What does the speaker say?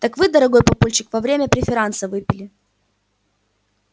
так вы дорогой папульчик во время преферанса выпили